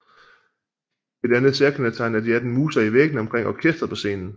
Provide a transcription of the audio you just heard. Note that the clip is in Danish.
Et andet særkendetegn er de 18 muser i væggene omkring orkestret på scenen